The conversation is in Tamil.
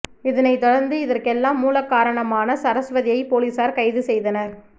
இதனை தொடர்ந்து இதற்கெலாம் மூலக்காரணமான சரஸ்வதியை போலீசார் கைது செய்தனர்